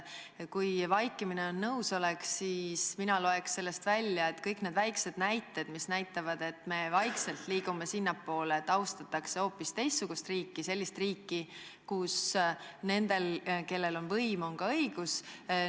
Kui vaikimine on nõusolek, siis mina loen sellest välja, et kõik need väiksed näited, mis näitavad, et me vaikselt liigume sinnapoole, et austatakse hoopis teistsugust riiki – sellist riiki, kus nendel, kellel on võim, on ka õigus –, kinnitavad, et nii ongi.